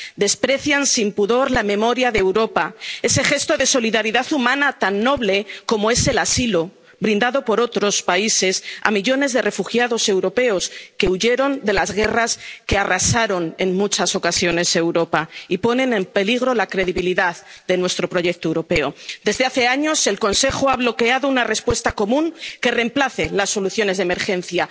Desprecian sin pudor la memoria de Europa, ese gesto de solidaridad humana tan noble como es el asilo, brindado por otros países a millones de refugiados europeos que huyeron de las guerras que arrasaron en muchas ocasiones Europa, y ponen en peligro la credibilidad de nuestro proyecto europeo. Desde hace años, el Consejo ha bloqueado una respuesta común que reemplace las soluciones de emergencia.